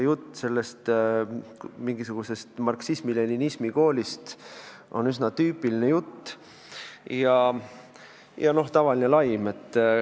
Jutt mingisugusest marksismi-leninismi koolist on üsna tüüpiline jutt ja tavaline laim.